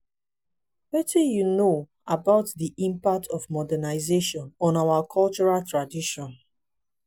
wetin you know about di impact of modernization on our cultural traditions?